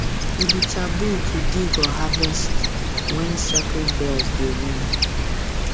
e be taboo to dig or harvest when sacred bells dey ring